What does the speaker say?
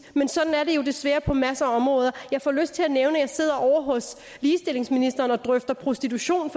men sådan er det jo desværre på masser af områder jeg får lyst til at nævne at sidder ovre hos ligestillingsministeren og drøfter prostitution